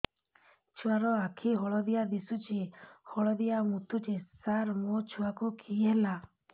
ଛୁଆ ର ଆଖି ହଳଦିଆ ଦିଶୁଛି ହଳଦିଆ ମୁତୁଛି ସାର ମୋ ଛୁଆକୁ କି ହେଲା